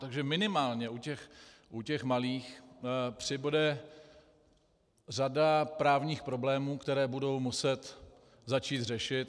Takže minimálně u těch malých přibude řada právních problémů, které budou muset začít řešit.